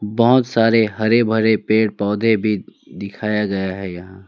बहुत सारे हरे भरे पेड़ पौधे भी दिखाया गया है यहां।